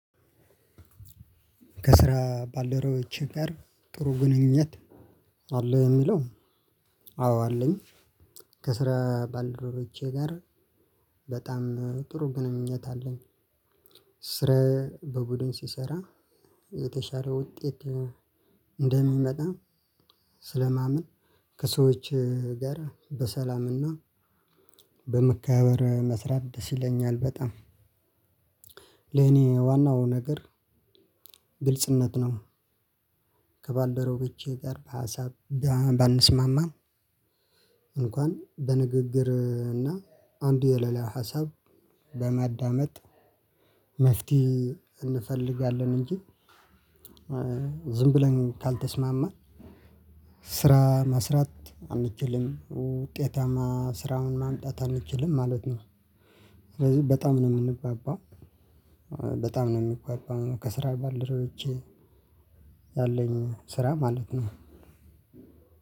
ከስራ ባልደረቦች ጋር ጥሩ ግንኙነት አለ ወይ? የሚለው አዎ አለኝ። ከስራ ባልደረቦቼ ጋር በጣም ጥሩ ግንኙነት አለኝ። ስራ በቡድን ስሰራ የተሻለ ውጤት እንደሚመጣ ስለማምን ከሰዎች ጋር በሰላም እና በመከባበር መስራት ደስ ይለኛል በጣም። ለኔ ዋናው ነገር ግልጽነት ነው። ከባልደረቦቼ ጋር በሀሳብ ባንስማማም እንኳን በንግግር እና አንዱ የሌላውን ሀሳብ በማዳመጥ መፍትሄ እንፈልጋለን እንጂ ዝም ብለን ካልተስማማን ስራ መስራት አንችልም። ውጤታማ ስራን ማምጣት አንችልም ማለት ነው። ስለዚህ በጣም ነው የምንግባባው በጣም ነው የምግባባው ከስራ ባልደረቦቼ ያለኝ ስራ ማለት ነው።